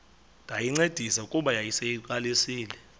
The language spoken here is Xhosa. ndayincedisa kuba yayiseyiqalisile